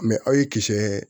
aw ye kisɛɛ